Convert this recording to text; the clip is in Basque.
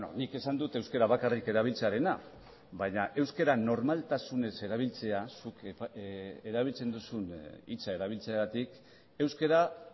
nik esan dut euskara bakarrik erabiltzearena baina euskara normaltasunez erabiltzea zuk erabiltzen duzun hitza erabiltzeagatik euskara